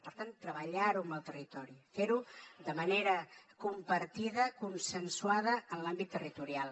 per tant treballar ho amb el territori fer ho de manera compartida consensuada en l’àmbit territorial